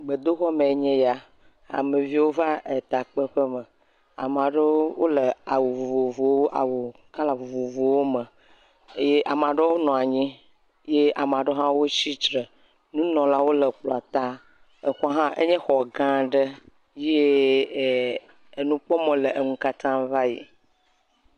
Gbedoxɔme enye ya, ameviwo va etakpeƒe me. Ame aɖewo wole awu vovovowo awu kɔla vovovowo me eye ame aɖewo nɔ anyi eye ame aɖewo hã tsitre. Nunɔlawo nɔ kplɔ̃a ta. Exɔ hã, enye xɔ gã aɖe ye err nukpɔmɔ le wo katã ŋu va yi.